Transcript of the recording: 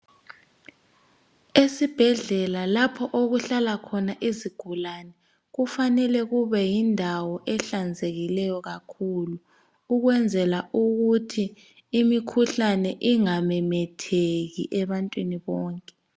Esibhedlela lapho okuhlala khona izigulane kufanele kube yindawo ehlanzekileyo kakhulu ukwenzela ukuthi imikhuhlane ingamemetheki ebantwini bonke.